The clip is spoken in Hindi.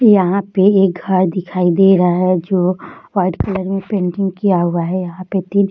यहाँ पे एक घर दिखाई दे रहा है जो व्हाइट कलर में पेंटिंग किया हुआ है यहाँ पे तीन --